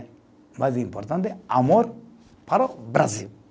O mais importante amor para o Brasil.